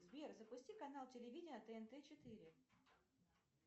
сбер запусти канал телевидения тнт четыре